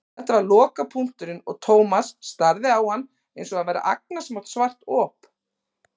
Þetta var lokapunkturinn og Thomas starði á hann einsog hann væri agnarsmátt svart op.